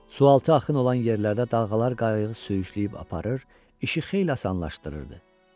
Sualtı axın olan yerlərdə dalğalar qayığı sürüşdürüb aparır, işi xeyli asanlaşdırırdı.